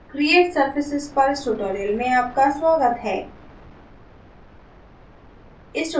create surfaces पर इस tutorial में आपका स्वागत है